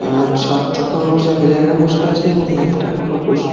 আজ সাতটা খরগোশ এক জায়গায় বসে আছে। এবং একটা খরগোশ--